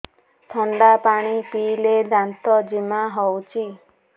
ଥଣ୍ଡା ପାଣି ପିଇଲେ ଦାନ୍ତ ଜିମା ହଉଚି